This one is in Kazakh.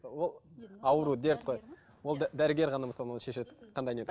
ол ауру дерт қой ол дәрігер ғана мысалы оны шешеді қандай